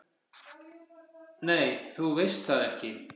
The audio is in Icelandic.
"""Nei, þú veist það ekki."""